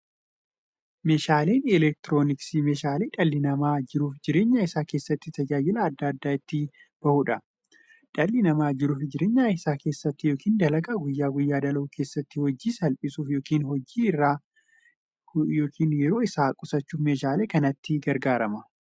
Meeshaaleen elektirooniksii meeshaalee dhalli namaa jiruuf jireenya isaa keessatti, tajaajila adda addaa itti bahuudha. Dhalli namaa jiruuf jireenya isaa keessatti yookiin dalagaa guyyaa guyyaan dalagu keessatti, hojii isaa salphissuuf yookiin yeroo isaa qusachuuf meeshaalee kanatti gargaarama.